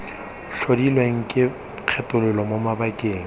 tlhodilweng ke kgethololo mo mabakeng